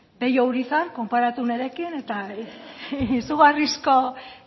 pello urizar konparatu nirekin eta izugarrizko